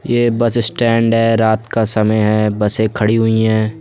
यह bus stand है। रात का समय है और सारी बसें खड़ी हैं।